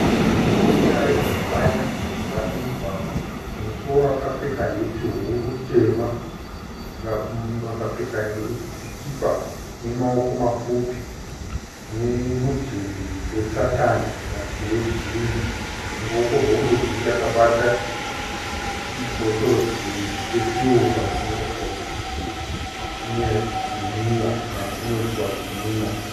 Murume ari kumhanya mujinga memugwagwa. Mumusoro akapfeka heti huru tema. Akapfeka sikipa ine maoko mapfupi nemudhebhe wesatani kana kuti wejini. Muruoko rworudyi akabata chibhotoro dhiringi chesirivha chinoratidza kuti chine zvinwiwa kana kuti chinoiswa zvinwiwa.